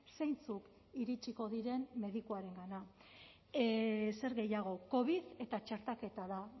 zeintzuk iritsiko diren medikuarengana zer gehiago covid eta txertaketa da